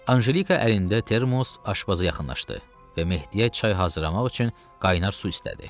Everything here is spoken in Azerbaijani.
Anjelika əlində termos aşpaza yaxınlaşdı və Mehdiyə çay hazırlamaq üçün qaynar su istədi.